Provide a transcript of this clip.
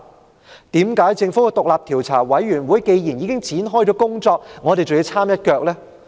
為何既然政府的獨立調查委員會已經展開工作，我們還要摻一腳呢？